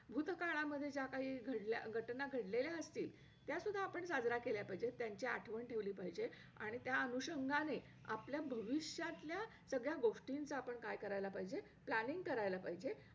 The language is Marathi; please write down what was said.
आमच्या पाचवी ते म त्या madam नी आम्हाला खूप छान grammar शिकवायच्या, त्याच्यामुळे माझी english हळूहळू पक्की होत गेली.